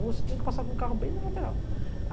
Você tinha que passar com o carro bem na lateral.